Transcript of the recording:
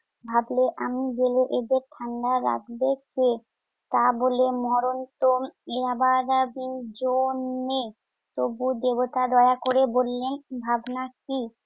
ভাবলে আমি গেলে এদের ঠান্ডা রাখবে কে? তা বলে মরণতো ইয়াবাবাদের জন্যে। তবু দেবতা দয়া করে বললেন- ভাবনা কি?